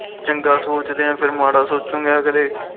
ਚੰਗਾ ਸੋਚਦੇ ਫਿਰ ਮਾੜਾ ਸੋਚੁਗੇ ਅਗਲੇ